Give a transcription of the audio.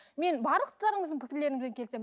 мен барлықтарыңыздың пікірлерімен келісемін